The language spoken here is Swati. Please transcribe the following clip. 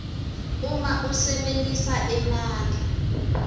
uma usebentisa emandla